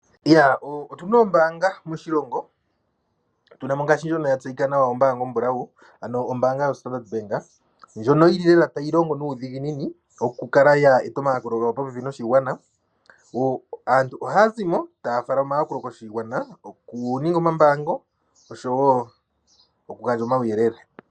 Otuna oombaanga moshilongo tuna mo ombaanga yoStandard bank ndjono yili lela tayi longo nuudhiginini okukala ya eta omayakulo gawo popepi noshigwana. Aantu ohaya zimo taya fala omayakulo koshigwana, okuninga omambaango oshowo okugandja omauyelele.